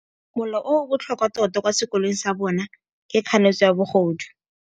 Molao o o botlhokwa tota kwa sekolong sa bone ke kganetsô ya bogodu.